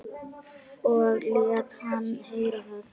Og lét hann heyra það.